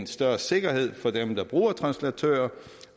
større sikkerhed for dem der bruger translatører